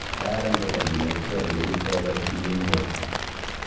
kararan kokakinetkei olekiriptai korotik eng borta